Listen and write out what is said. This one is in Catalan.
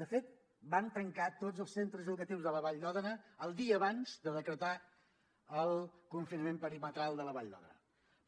de fet van tancar tots els centres educatius de la vall d’òdena el dia abans de decretar el confinament perimetral de la vall d’òdena